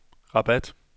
Rabat